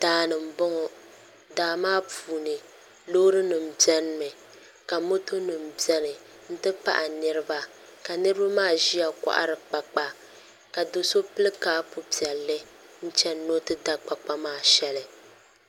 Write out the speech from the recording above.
Daani n boŋo daa maa puuni loori nim biɛni mi ka moto nim biɛni n ti pahi niraba ka niraba maa ʒiya kohari kpakpa ka do so pili kaapu piɛlli n chɛni ni o ti da kpakpa maa shɛli